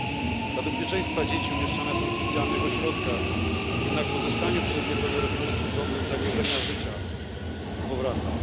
Dzieci dla bezpieczeństwa umieszczane są w specjalnych ośrodkach, jednak po uzyskaniu przez nie pełnoletności problem zagrożenia życia powraca.